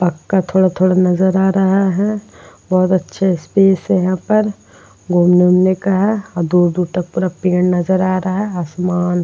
पक्का थोड़ा थोड़ा नजर आ रहा है और अच्छे स्पेस है यहाँ पर। घूमने उमने का है और दूर दूर तक बड़ा पेड़ नजर आ रहा है आसमान --